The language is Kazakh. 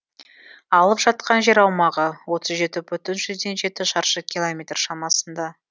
алып жатқан жер аумағы отыз жеті бүтін жүзден жеті шаршы километр шамасында